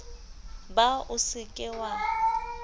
ba o se ke wa